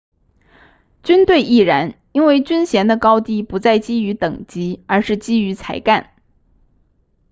军队亦然因为军衔的高低不再基于等级而是基于才干